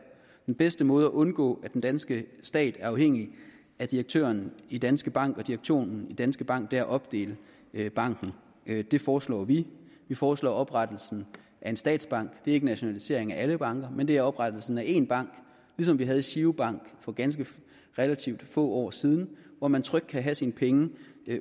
den bedste måde at undgå at den danske stat er afhængig af direktøren i danske bank og direktionen i danske bank er at opdele banken det foreslår vi vi foreslår oprettelsen af en statsbank det er ikke en nationalisering af alle banker men det er oprettelsen af én bank ligesom vi havde giro bank for relativt få år siden hvor man trygt kan have sine penge